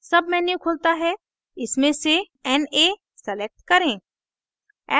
menu खुलता है इसमें से na select करें